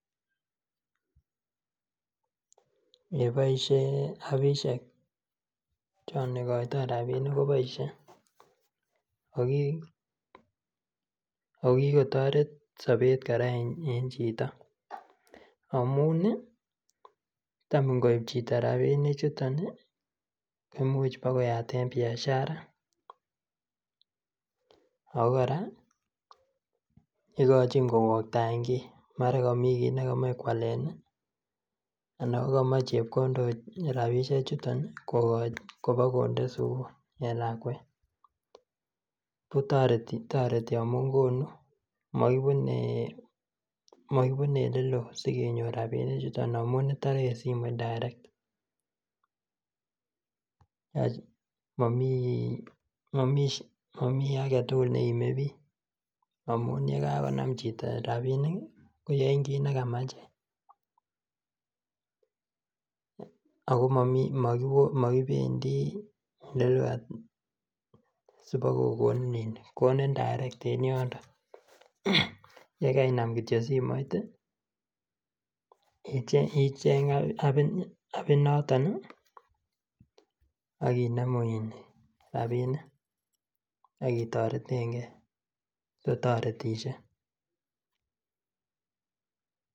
Eeii boishe apishek choon ikoito rabinik koboishen ak ko kikotoret sobet kora en chito amun taam ingoib chito rabinichuton koimuch bakoyaten biashara ak ko kora ikochin kowoktaen kii, mara komii kii nekomoe kwalen anan ko komoe chepkondok kotinye rabishechuton kobokonde sukul en lakwet, ko toreti amun konu moibune oleloo sikenyor rabinichuton amun itore en simoit direct, momii aketukul neimebiik amun yekakonam chito rabinik koyoen kiit nekamach ak ko mokibendi sibokokonin konin direct en yundon, yekeinam kityo simoit icheng apit noton ak inemu rabinik ak itoreteng'e, kotoretishe.